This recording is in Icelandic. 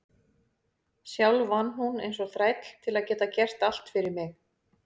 Sjálf vann hún eins og þræll til að geta gert allt fyrir mig.